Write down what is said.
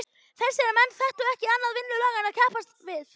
Þessir menn þekktu ekki annað vinnulag en að keppast við.